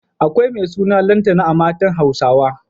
Akwai mai suna Lantana a matan Hausawa.